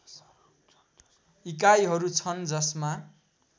इकाइहरू छन् जसमा